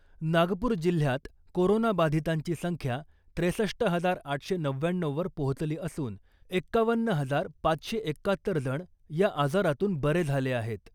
नागपूर जिल्ह्यात कोरोनाबाधितांची संख्या त्रेसष्ट हजार आठशे नव्व्याण्णऊवर पोहचली असून एक्कावन्न हजार पाचशे एक्कात्तर जण या आजारातून बरे झाले आहेत .